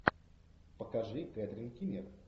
покажи кэтрин кинер